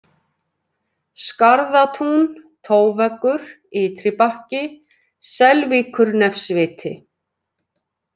Skarðatún, Tóveggur, Ytri-Bakki, Selvíkurnefsviti